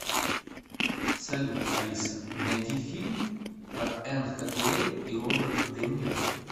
салют алиса найди фильм про энн хэтэуэй и роберт де ниро